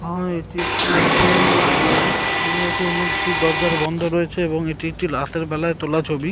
আর এটি একটি SBI ATM ATM দরজা বন্ধ রয়েছে এবং এটি একটি রাতের বেলায় তোলা ছবি।